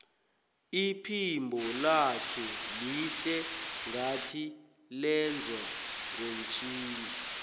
iphimbo lakhe lihle ngathi lenzwe ngomtjhini